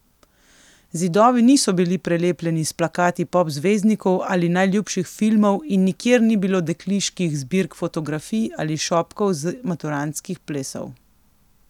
Zidovi niso bili prelepljeni s plakati pop zvezdnikov ali najljubših filmov in nikjer ni bilo dekliških zbirk fotografij ali šopkov z maturantskih plesov.